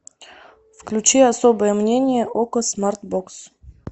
включи особое мнение окко смартбокс